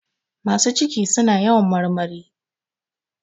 Masu ciki suna yawan marmari.